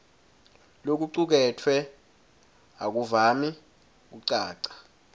lokucuketfwe akuvami kucaca